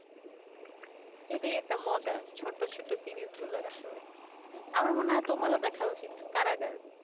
এটাই একটা মজা ছোট্ট ছোট্ট সিরিজ গুলার আসলে আমার মনে হয় একবার দেখা উচিত কারাগার